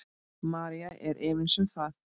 María er efins um það.